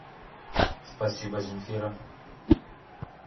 спасибо земфира